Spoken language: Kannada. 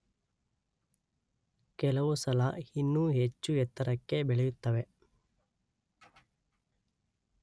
ಕೆಲವು ಸಲ ಇನ್ನೂ ಹೆಚ್ಚು ಎತ್ತರಕ್ಕೆ ಬೆಳೆಯುತ್ತವೆ